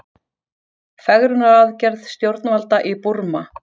Fegrunaraðgerð stjórnvalda í Búrma